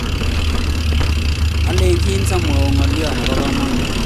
anegitchin sa mwaun ngalyo nebo kamanut